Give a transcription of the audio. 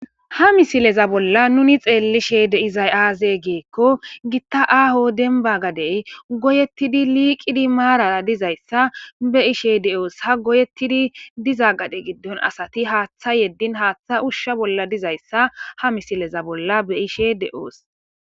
Ha misileza bolla nunni xelishe dizayi azze gikko, gitta aho demibba gadeyi goyetidi liqiddi marara dizayissa beishe de'osi.ha goyetidi diza gadde giddoni assati hatha yedini hatha usha bolla dizayisa ha misile bollani be'ishe de'osi.